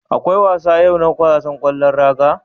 Akwai wasa yau na wasan ƙwallon raga.